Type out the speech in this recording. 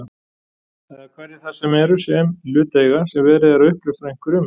Eða hverjir það eru sem í hlut eiga sem verið er uppljóstra einhverju um?